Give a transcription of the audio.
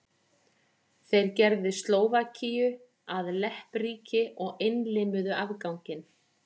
Þeir gerðu Slóvakíu að leppríki og innlimuðu afganginn.